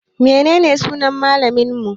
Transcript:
Menene sunan malaminmu?